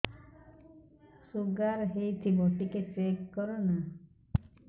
sugar ହେଇଥିବ ଟିକେ check କର ନା